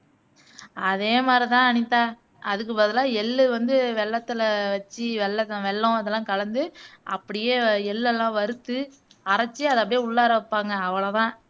அதே மாதிரிதான் அனிதா அதுக்கு பதிலா எள்ளு வந்து வெல்லத்துலே வச்சு வெல்லவெல்லம் இதெல்லாம் கலந்து அப்படியே எள்ளெல்லாம் வருத்து அரைச்சு அத அப்படியே உள்ளர வைப்பாங்க அவளோதான்